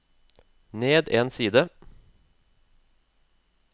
ned en side